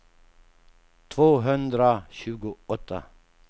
tvåhundratjugoåtta